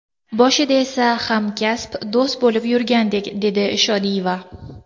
Boshida esa hamkasb, do‘st bo‘lib yurgandik”, dedi Shodiyeva.